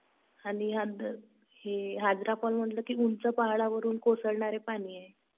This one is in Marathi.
आणि हाजरा फॉल म्हणलं कि उंच पहाडावरून कोसळणार पाणी आहे.